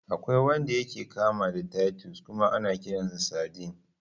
Akwai wanda yake kama da titus kuma ana kiransa sardine.